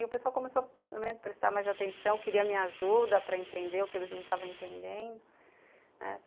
E o pessoal começou a me prestar mais atenção, queria minha ajuda para entender o que eles não estavam entendendo.